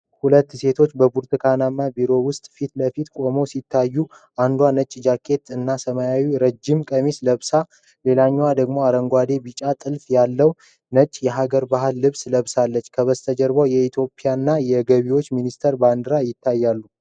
ሁለት ሴቶች በብርሃናማ ቢሮ ውስጥ ፊት ለፊት ቆመው ሲታዩ፣ አንዷ ነጭ ጃኬት እና ሰማያዊ ረጅም ቀሚስ ለብሳ፣ ሌላዋ ደግሞ አረንጓዴና ቢጫ ጥልፍ ያለው ነጭ የሐገር ባህል ልብስ ለብሳለች፤ ከበስተጀርባ የኢትዮጵያና የገቢዎች ሚኒስቴር ባንዲራዎች ይታያሉ።